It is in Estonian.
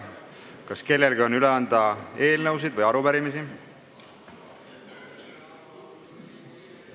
Kas kellelgi on üle anda eelnõusid või arupärimisi?